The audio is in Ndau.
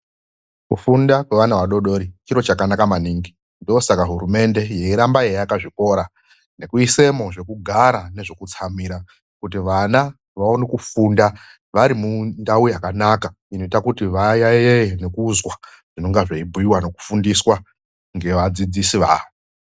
Kufunda kwevana vadodori chiro chakanaka maningi ndosaka hurumende yeiramba yeiaka zvikora nekuisamo zvekugara nezvekutsamira kuti vaone kufunda vari mundau yakanaka inoita kuti vayaiye nekuzwa zvinenge zveibhuyuyiwa nekufundiswa nevadzidzisi vavo..